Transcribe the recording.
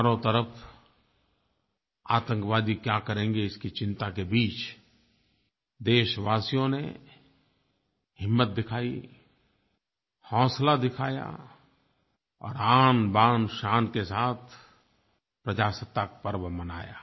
चारों तरफ़ आतंकवादी क्या करेंगे इसकी चिंता के बीच देशवासियों ने हिम्मत दिखाई हौसला दिखाया और आनबानशान के साथ प्रजासत्ताक पर्व मनाया